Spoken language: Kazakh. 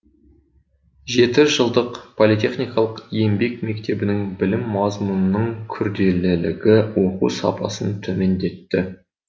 жеті жылдық политехникалық еңбек мектебінің білім мазмұнының күрделілігі оқу сапасын төмендетті